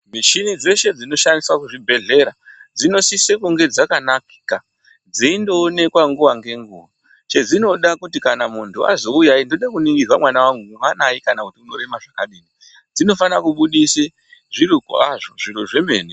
Mishina dzeshe dzinoshandiswa kuzvibhedhlera dzinosisa kuve dzakanaka dzindoonekwa nguwa ngenguwa dzeinoda ndechekuti kana munhu Achti ndoda kuningirwa mwana wangu kuti mwanai kana kuti anorema zvakadii dzinofana kubudisa zviro kwazvo zviro zvemene.